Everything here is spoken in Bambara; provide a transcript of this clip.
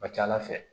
A ka ca ala fɛ